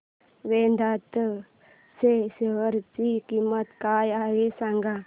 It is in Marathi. वेदांत च्या शेअर ची किंमत काय आहे सांगा